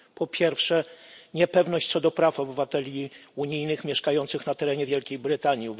Po pierwsze, niepewność co do praw obywateli Unii mieszkających na terenie Wielkiej Brytanii.